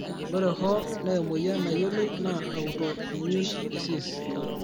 ore hoo, naa emoyian nayioloi naa autoimmune disease.